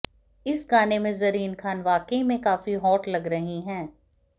इस गाने में ज़रीन खान वाकई में काफी हॉट लग रही हैं